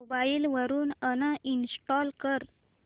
mobile वरून uninstall कर